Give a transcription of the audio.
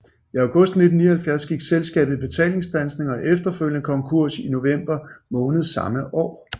I august 1979 gik selskabet i betalingsstandsning og efterfølgende konkurs i november måned samme år